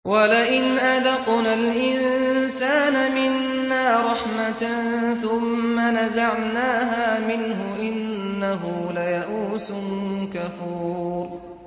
وَلَئِنْ أَذَقْنَا الْإِنسَانَ مِنَّا رَحْمَةً ثُمَّ نَزَعْنَاهَا مِنْهُ إِنَّهُ لَيَئُوسٌ كَفُورٌ